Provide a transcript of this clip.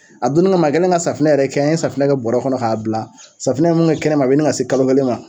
A donnin kama a kɛlen ka safinɛ yɛrɛ kɛ an ye safinɛ kɛ bɔɔrɛ kɔnɔ k'a bila safunɛ ye mun kɛ kɛnɛma a bɛ ɲini ka se kalo kelen ma.